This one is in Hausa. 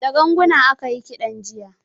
Da ganguna aka yi kiɗan jiya.